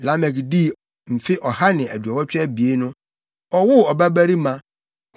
Lamek dii mfe ɔha ne aduɔwɔtwe abien no, ɔwoo ɔbabarima.